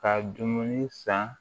Ka dumuni san